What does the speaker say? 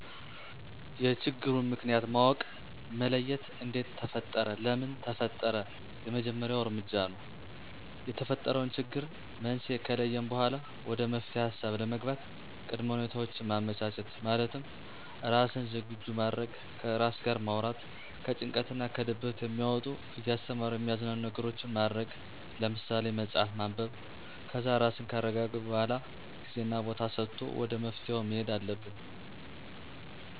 የችግሩን ምክንያት ማወቅ መለየት እንዴት ተፈጠረ ለምን ተፈጠረ የመጀመሪያው እርምጃ ነው። የተፈጠረውን ችግር መንስኤ ከለየን በኋላ ወደ መፍትሔ ሀሳብ ለመግባት ቅድመ ሁኔታውችን ማመቻቸት፣ ማለትም ራስን ዝግጁ ማድረግ፣ ከራስ ጋር ማውራት፣ ከጭንቀት እና ከድብርት የሚያወጡ እያስተማሩ የሚያዝናኑ ነገሮችን ማድረግ ለምሳሌ፥ መፅሀፍ ማንበብ ...ከዛ ራስን ካረጋጉ በኋላ ጊዜና ቦታ ሰጥቶ ወደ መፍትሔው መሔድ አለብን።